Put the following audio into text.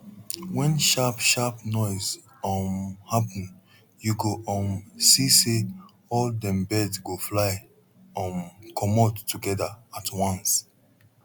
wen sharp sharp noise um happen you go um see say all dem bird go fly um comot together at once